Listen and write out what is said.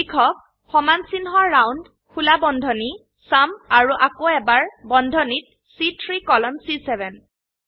লিখক সমানচিহ্ন ৰাউণ্ড খোলা বন্ধনী চুম আৰু আকৌ এবাৰ বন্ধনীত চি3 কোলন চি7